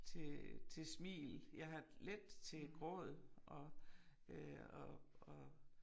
Til til smil jeg har let til gråd og øh og og